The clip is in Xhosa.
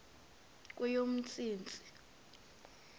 kweyomntsintsi